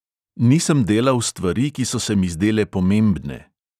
Nisem delal stvari, ki so se mi zdele pomembne.